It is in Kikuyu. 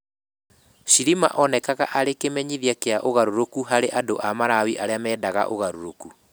Chilima onekaga arĩ kĩmenyithia kĩa ũgarũrũku harĩ andũ a Malawi arĩa mendaga ũgarũrũku.